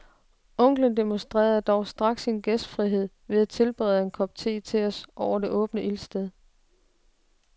Onklen demonstrerer dog straks sin gæstfrihed ved at tilberede en kop te til os over det åbne ildsted.